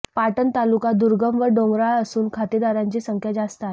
पाटण तालुका दुर्गम व डोंगराळ असून खातेदारांची संख्या जास्त आहे